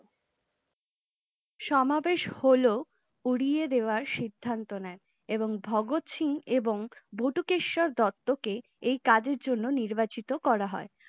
সমাবেশ হল উড়িয়ে দেবার সিদ্ধান্ত নায়ে, এবং ভাগত সিং এবং বটুকেশ্বর দত্ত কে এই কাজের জন্য নির্বাচিত করা হয়ে ।